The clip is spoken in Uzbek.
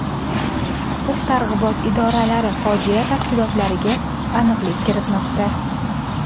Huquq-tartibot idoralari fojia tafsilotlariga aniqlik kiritmoqda.